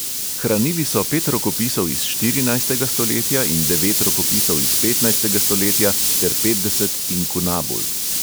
Hranili so pet rokopisov iz štirinajstega stoletja in devet rokopisov iz petnajstega stoletja ter petdeset inkunabul.